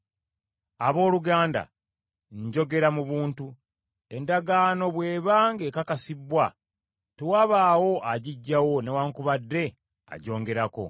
Abooluganda njogera mu buntu; endagaano bw’eba ng’ekakasibbwa, tewabaawo agiggyawo newaakubadde agyongerako.